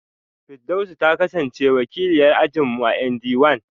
Firdausi ta kasance wakiliyar ajin mu a ND one